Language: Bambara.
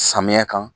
Samiya kan